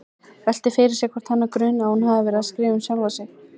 Veltir fyrir sér hvort hana gruni að hún hafi verið að skrifa um sjálfa sig.